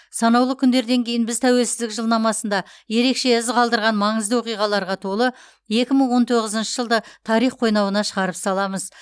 санаулы күндерден кейін біз тәуелсіздік жылнамасында ерекше із қалдырған маңызды оқиғаларға толы екі мың он тоғызыншы жылды тарих қойнауына шағарып саламыз